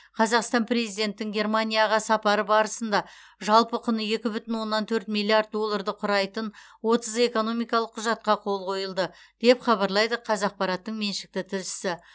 қазақстан президентін германияға сапары барысында жалпы құны екі бүтін оннан төрт миллиард долларды құрайтын отыз экономикалық құжатқа қол қойылды деп хабарлайды қазақпараттың меншікті тілшісі